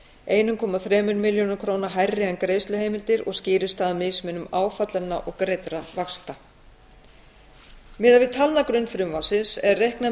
einn komma þremur milljörðum króna hærri en greiðsluheimildir og skýrist það af mismun áfallinna og greiddra vaxta miðað við talnagrunn frumvarpsins er reiknað með